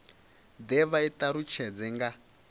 de vha i talutshedze nga